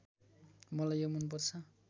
मलाई यो मनपर्छ